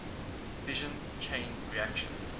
fission chain reaction